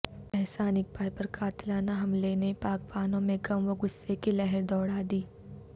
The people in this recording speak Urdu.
احسن اقبال پر قاتلانہ حملے نے پاکبانوں میں غم و غصہ کی لہر دوڑا دی